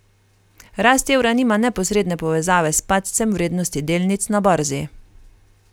Rast evra nima neposredne povezave s padcem vrednosti delnic na borzi.